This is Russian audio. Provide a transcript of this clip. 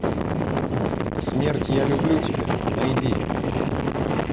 смерть я люблю тебя найди